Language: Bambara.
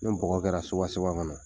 Nin bɔgɔ kɛra kɔnɔ